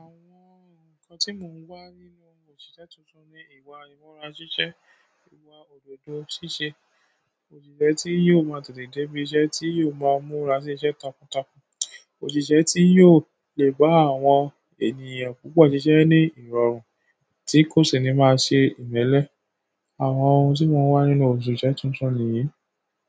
Àwọn nǹkan tí mò ń wá nínú òṣìṣẹ́ tuntun ni ìwà ìmúra ṣíṣe, ìwà òdodo ṣíṣe, òṣìṣẹ́ tí yóò máa tètè dé ibi iṣẹ́, tí yóò máa múra sí iṣẹ́ takuntakun, òṣìṣẹ́ tí yóò lè bá àwọn ènìyàn púpọ̀ ṣiṣẹ́ ní ìrọ̀rùn, tí kò sì ní máa ṣe ìmẹ́lẹ́. Àwọn ohun tí mò ń wá nínú òṣìṣẹ́ tuntun nìyí.